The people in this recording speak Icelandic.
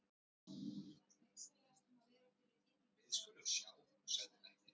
Biður áhorfandann vinsamlegast að vera fyrir innan meðan á tökunni stendur.